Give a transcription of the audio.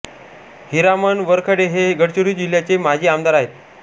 हिरामण वरखडे हे गडचिरोली जिल्ह्याचे माजी आमदार आहेत